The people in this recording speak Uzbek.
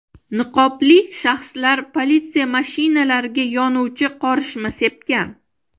Niqobli shaxslar politsiya mashinalariga yonuvchi qorishma sepgan.